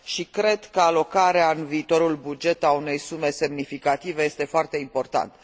Cred că alocarea în viitorul buget a unei sume semnificative este foarte importantă.